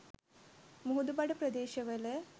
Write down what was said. මුහුදුබඩ ප්‍රදේශවල